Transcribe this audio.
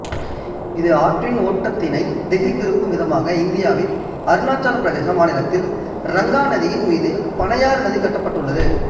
இது ஆற்றின் ஓட்டத்தினை திசை திருப்பும் விதமாக இந்தியாவின் அருணாச்சல பிரதேசம் மாநிலத்தில் இரங்காநதியின் மீது பனையாறு நதி கட்டப்பட்டுள்ளது